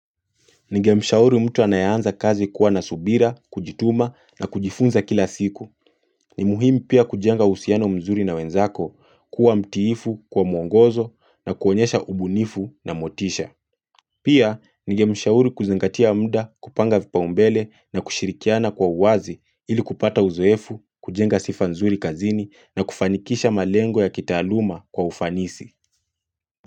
Nigemshauri mtu anayanza kazi kuwa nasubira, kujituma na kujifunza kila siku. Ni muhimi pia kujenga usiano mzuri na wenzako, kuwa mtiifu, kuwa mwongozo na kuonyesha ubunifu na motisha. Pia, nigemshauri kuzangatia muda kupanga vipaumbele na kushirikiana kwa uwazi ili kupata uzoefu, kujenga sifa mzuri kazini na kufanikisha malengo ya kitaaluma kwa ufanisi.